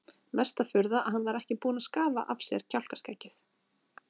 Mesta furða að hann var ekki búinn að skafa af sér kjálkaskeggið!